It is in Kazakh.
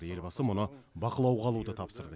елбасы мұны бақылауға алуды тапсырды